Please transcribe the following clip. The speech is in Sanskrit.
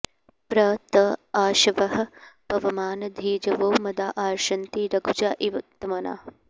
प्र त आशवः पवमान धीजवो मदा अर्षन्ति रघुजा इव त्मना